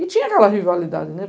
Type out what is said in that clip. E tinha aquela rivalidade, né?